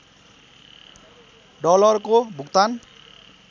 डलरको भुक्तान